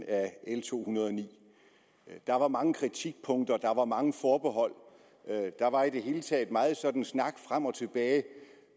af l to hundrede og ni der var mange kritikpunkter der var mange forbehold og der var i det hele taget meget sådan snak frem og tilbage